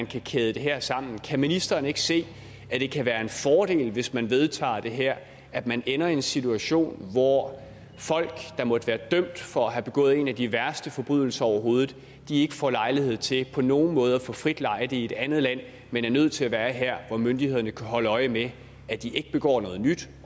kan kæde det her sammen kan ministeren ikke se at det kan være en fordel hvis man vedtager det her at man ender i en situation hvor folk der måtte være dømt for at have begået en af de værste forbrydelser overhovedet ikke får lejlighed til på nogen måde at få frit lejde i et andet land men er nødt til at være her hvor myndighederne kan holde øje med at de ikke begår noget nyt